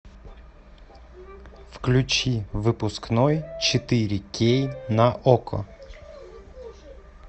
включи выпускной четыре кей на окко